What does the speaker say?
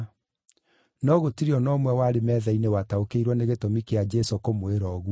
No gũtirĩ o na ũmwe warĩ metha-inĩ wataũkĩirwo nĩ gĩtũmi kĩa Jesũ kũmwĩra ũguo.